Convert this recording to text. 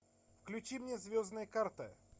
включи мне звездные карты